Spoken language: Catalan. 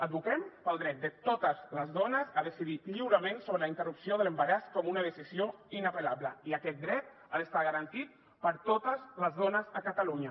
advoquem pel dret de totes les dones a decidir lliurement sobre la interrupció de l’embaràs com una decisió inapel·lable i aquest dret ha d’estar garantit per a totes les dones a catalunya